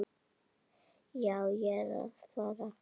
Já, ég er að fara.